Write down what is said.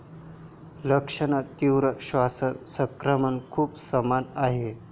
लक्षणे तीव्र श्वसन संक्रमण खूप समान आहे.